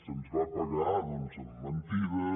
se’ns va pagar doncs amb mentides